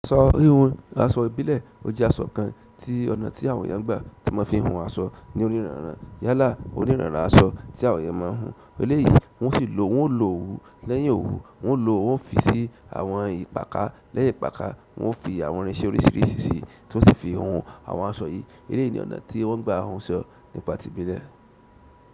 Aṣọ híhun, aṣọ ìbílẹ̀, ó jẹ́ aṣọ kan tí ọ̀nà tí àwọn eeyan n gbà tí ọ́n mo fi ń hun aṣọ ní onírànràn. Yálà onírànràn aṣọ tí àwọn eeyan máa ń hun. Eléyìí wọ́n ó si lò, wọ́n ó lo òwú lẹ́yìn òwú, wọ́n ó lo, wọ́n ó fi sí àwọn ìpakà lẹ́yìn ìpakà, wọ́n ó fi àwọn irinṣẹ́ oríṣìíríṣìí sí i tí wọ́n o sì fi hun àwọn aṣọ yìí. Eléyìí ni ọ̀nà tí wọ́n gbà hun aṣọ nípa ti ìbílẹ̀.